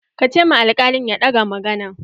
Ka ce ma alkalin ya ɗaga maganan!